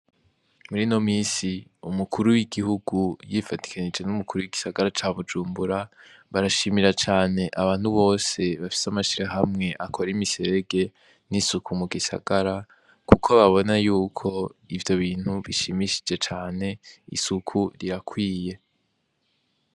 Murino minsi umukuru w'igihugu yifatikanije numukuru w'igisagara ca bujumbura barashimira abantu bose baffise amashirahamwe akora imiserege n'isuku mu gisagara kuko babona ko ivyo bintu bishimishije cane kuko birakwiye.